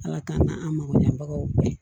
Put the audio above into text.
Ala k'an na an mago ɲɛbagaw ye